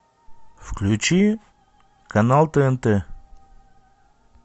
включи канал тнт